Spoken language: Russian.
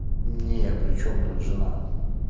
не причём тут жена